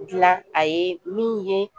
Gilan a ye min ye